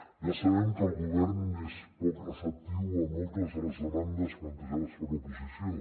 ja sabem que el govern és poc receptiu a moltes de les demandes plantejades per l’oposició